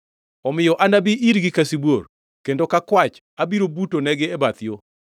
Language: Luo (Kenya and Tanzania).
Omiyo anabi irgi ka sibuor, kendo ka kwach abiro buto negi e bath yo.